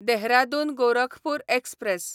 Dehradun Gorakhpur express